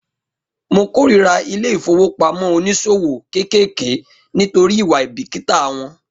Mo kórira ilé ìfowópamọ́ oníṣòwò kéékèèké nítorí ìwà àìbìkítà wọn